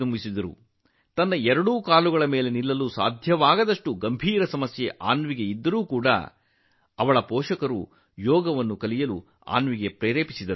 ಸಮಸ್ಯೆ ತುಂಬಾ ಗಂಭೀರವಾಗಿತ್ತು ಅನ್ವಿಗೆ ತನ್ನ ಕಾಲಿನ ಮೇಲೆ ನಿಲ್ಲಲು ಸಹ ಸಾಧ್ಯವಾಗಲಿಲ್ಲ ಅಂತಹ ಪರಿಸ್ಥಿತಿಯಲ್ಲಿ ಆಕೆಯ ಪೋಷಕರು ಅನ್ವಿಗೆ ಯೋಗವನ್ನು ಕಲಿಯಲು ಪ್ರೇರೇಪಿಸಿದರು